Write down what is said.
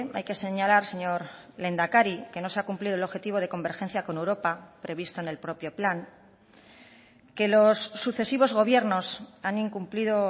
hay que señalar señor lehendakari que no se ha cumplido el objetivo de convergencia con europa previsto en el propio plan que los sucesivos gobiernos han incumplido